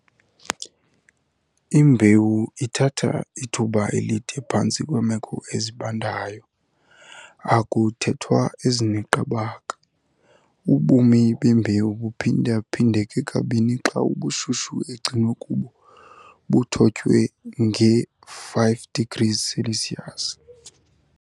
Imbewu ithatha ithuba elide phantsi kweemeko ezibandayo, akuthethwa ezineqabaka. Ubomi bembewu buphinda-phindeka kabini xa ubushushu egcinwe kubo buthotywe nge 5ºC.